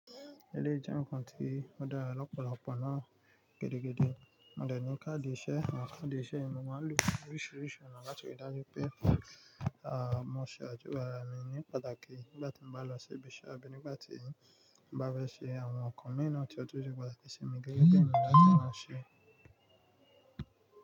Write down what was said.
Eleyi jẹ́ ǹkan tí ó dára lọ́pọ̀lọpọ̀ náà gidigidi. Mo dẹ̀ ní káàdì iṣẹ́, àwọn káàdì iṣẹ́ mi, mo máa ń lò oríṣìíríṣìí ọ̀nà láti ríi dájú pé, à, mo ṣe àdúrà mi ní pàtàkì nígbà tí mo bá lọ sí ibiṣẹ́ àbí nígbà tí mo bá fẹ́ ṣe àwọn nǹkan mìíràn tí ó tó ju pàtàkì ìsinmi gẹ́gẹ́ bí ǹlá tí wọ́n ṣe.